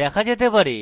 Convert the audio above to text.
দেখা যেতে পারে